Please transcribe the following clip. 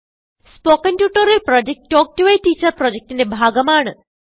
spoken tutorial project talk to a teacher പ്രൊജക്റ്റ്ന്റെ ഭാഗമാണ്